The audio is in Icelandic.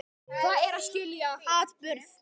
Hvað er að skilja atburð?